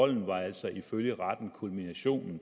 døden var altså ifølge retten kulminationen